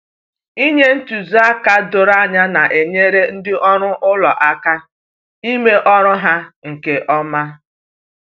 Inye ntụziaka doro anya na-enyere ndị ọrụ ụlọ aka ime ọrụ ha nke ọma.